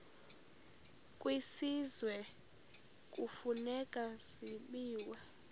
kwisizwe kufuneka zabiwe